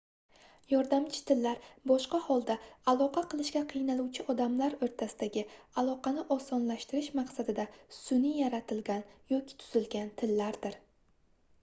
yordamchi tillar boshqa holda aloqa qilishga qiynaluvchi odamlar oʻrtasidagi aloqani osonlashtirish maqsadida sunʼiy yaratilgan yoki tuzilgan tillardir